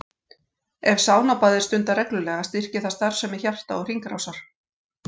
Ef saunabað er stundað reglulega styrkir það starfsemi hjarta og hringrásar.